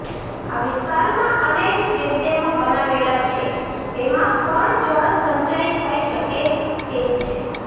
આ વિસ્તારમાં અનેક ચેકડેમો બનાવેલા છે તેમાં પણ જળ સંચય થઈ શકે તેમ છે